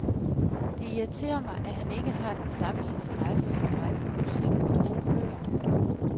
Det irriterer mig, at han ikke har den samme interesse som mig for musik og gode bøger.